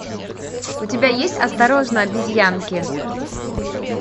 у тебя есть осторожно обезьянки